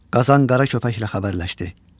Qazan qara köpəklə xəbərləşdi.